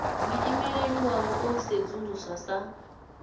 muimeli wavho o sedzuluswa sa